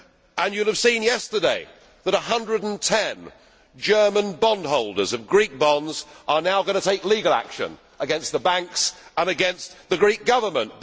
And you will have seen yesterday that 110 German bondholders of Greek bonds are now going to take legal action against the banks and against the Greek Government.